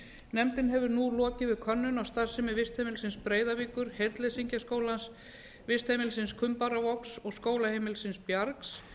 nefndin hefur nú lokið við könnun á starfsemi vistheimilisins breiðavíkur heyrnleysingjaskólans vistheimilisins kumbaravogs og skólaheimilisins bjargs